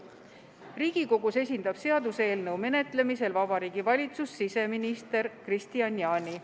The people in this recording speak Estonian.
Riigikogus esindab seaduseelnõu menetlemisel Vabariigi Valitsust siseminister Kristian Jaani.